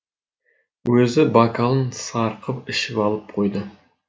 өзі бокалын сарқып ішіп алып қойды